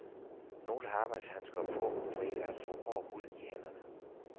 Nogle har arbejdshandsker på for ikke at få hård hud i hænderne.